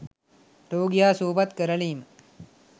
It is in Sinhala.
රෝගියා සුව පත් කරලීම